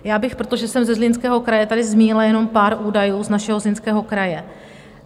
Já bych, protože jsem ze Zlínského kraje, tady zmínila jenom pár údajů z našeho Zlínského kraje.